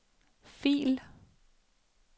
fil